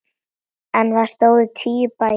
En þar stóðu tíu bæir.